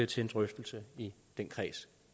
til en drøftelse i den kreds